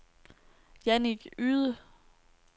Jannik Yde